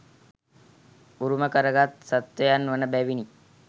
උරුම කරගත් සත්ත්වයන් වන බැවිනි.